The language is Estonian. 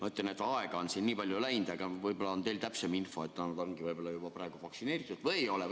Ma ütlen, et aega on nii palju läinud, võib-olla on teil täpsem info, kas nad on juba vaktsineeritud või ei ole.